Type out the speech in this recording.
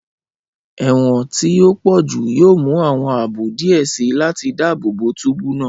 Ẹwọn ti o pọju yoo mu awọn aabo diẹ sii lati daabobo túbú naa.